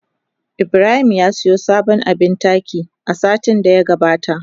Ibrahim ya siyo sabon abin taki a satin da ya gabata.